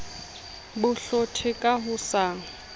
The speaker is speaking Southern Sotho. bo hlothe ka ho sa